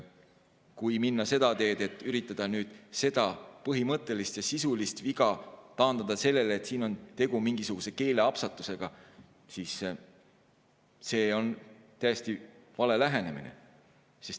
Kui minna seda teed, et üritada nüüd seda põhimõttelist ja sisulist viga taandada sellele, et siin on tegu mingisuguse keeleapsakaga, siis see on täiesti vale lähenemine.